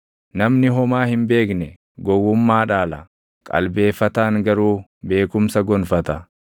Namni homaa hin beekne gowwummaa dhaala; qalbeeffataan garuu beekumsa gonfata.